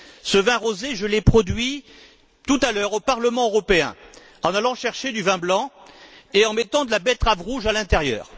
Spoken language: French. Ce vin rosé, je l'ai produit tout à l'heure, au Parlement européen, en allant chercher du vin blanc et en mettant de la betterave rouge à l'intérieur.